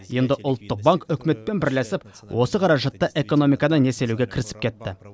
енді ұлттық банк үкіметпен бірлесіп осы қаражатты экономиканы несиелеуге кірісіп кетті